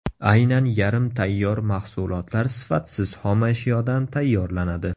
Aynan yarim tayyor mahsulotlar sifatsiz xomashyodan tayyorlanadi.